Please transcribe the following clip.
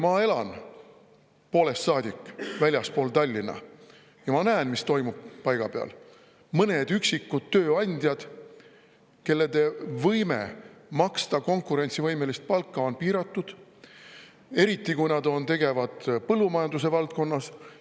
Ma elan poolest saadik väljaspool Tallinna ja ma näen, mis toimub paiga peal: on vaid mõned üksikud tööandjad ja nende võime maksta konkurentsivõimelist palka on piiratud, eriti kui nad on tegevad põllumajanduse valdkonnas.